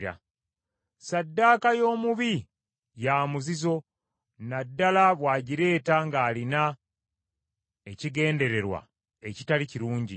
Ssaddaaka y’omubi ya muzizo, na ddala bw’agireeta ng’alina ekigendererwa ekitali kirungi.